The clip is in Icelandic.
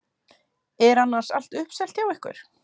Er annars allt uppselt hjá ykkur?